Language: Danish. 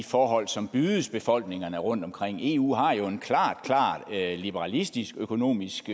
forhold som bydes befolkningerne rundtomkring eu har jo en klar klar liberalistisk økonomisk